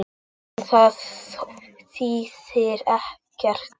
En það þýðir ekkert.